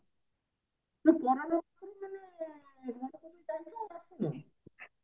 ମୁଁ କୋରୋନା